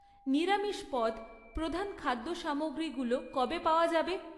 নিরামিষ পদ, প্রধান খাদ্য সামগ্রীগুলো কবে পাওয়া যাবে?